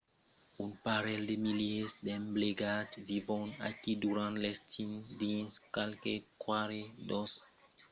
un parelh de milièrs d'emplegats vivon aquí durant l’estiu dins qualques quatre dotzenas de basas mai que mai dins aqueles ròdols; un nombre pichon i demòra pendent l’ivèrn